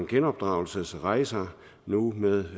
genopdragelsesrejser nu med